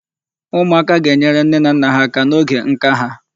Ụmụaka ga-enyere nne na nne ha aka n'oge nka ha.